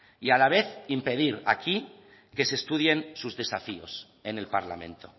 y a la vez impedir aquí que se estudien sus desafíos en el parlamento